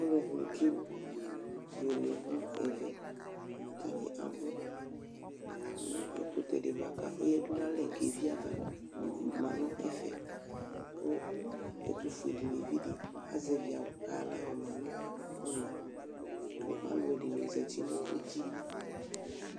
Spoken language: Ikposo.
Alʋɛdɩnɩ kebuele nʋ ɛvɛ Atanɩ abʋ nʋ ɛkʋtɛ dɩ bʋa kʋ ɔyǝdu nʋ alɛ kʋ evi ava ma nʋ ɛfɛ kʋ ɛtʋfuenɩvi dɩ azɛvɩ awʋ kʋ ayɔ aɣla yɔma nʋ ɔna kʋ alʋɛdɩnɩ zati nʋ uti